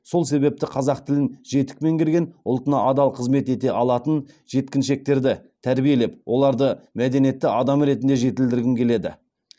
сол себепті қазақ тілін жетік меңгерген ұлтына адал қызмет ете алатын жеткіншектерді тәрбиелеп оларды мәдениетті адам ретінде жетілдіргім келеді